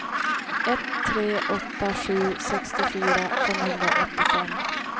ett tre åtta sju sextiofyra femhundraåttiofem